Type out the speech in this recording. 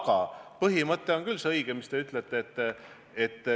Aga see põhimõte, millele te viitate, on küll õige.